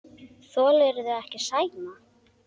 Þolirðu ekki Sæma?